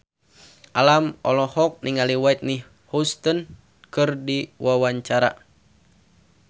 Alam olohok ningali Whitney Houston keur diwawancara